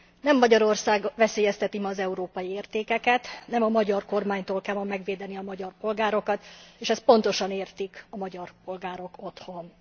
Nem Magyarország veszélyezteti ma az európai értékeket, nem a magyar kormánytól kell ma megvédeni a magyar polgárokat, és ezt pontosan értik a magyar polgárok otthon.